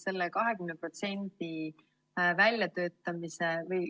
See on hea küsimus.